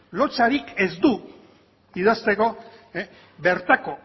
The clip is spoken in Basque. lotsarik ez du idazteko bertako